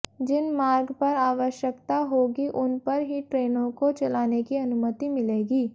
जिन मार्ग पर आवश्यकता होगी उन पर ही ट्रेनों को चलाने की अनुमति मिलेगी